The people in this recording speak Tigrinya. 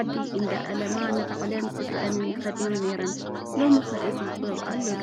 ዓዲ እንዳእለማ ንባዕለንን ስድረአንን ይኸድና ነይረን፡፡ ሎሚ ኸ እዚ ጥበብ ኣሎ ዶ?